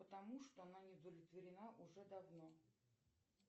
потому что она не удовлетворена уже давно